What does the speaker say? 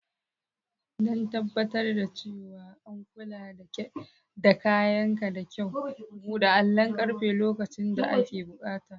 Don tabbatar da cewa an kula da kayanka da kyau, buɗe allon ƙarfe lokacin da ake buƙata.